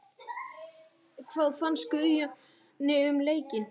Hvað fannst Guðjóni um leikinn?